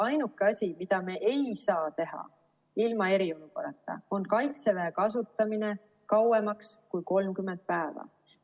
Ainuke asi, mida me ei saa teha ilma eriolukorrata, on Kaitseväe kasutamine kauem kui 30 päeva.